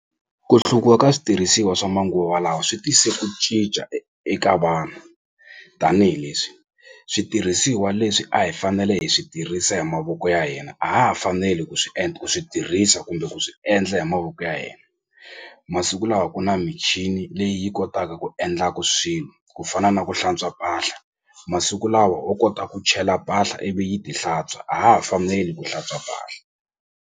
Ku ka switirhisiwa swa manguva lawa swi tise ku cinca eka vanhu tanihileswi switirhisiwa leswi a hi fanele hi swi tirhisa hi mavoko ya hina a ha ha faneli ku swi ku swi tirhisa kumbe ku swi endla hi mavoko ya masiku lawa ku na michini leyi yi kotaka ku endlaku swilo ku fana na ku hlantswa mpahla masiku lawa wo kota ku chela mpahla ivi yi ti hlantswa a ha ha faneli ku hlantswa mpahla.